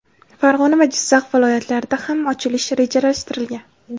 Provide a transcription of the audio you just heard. Farg‘ona va Jizzax viloyatlarida ham ochilishi rejalashtirilgan.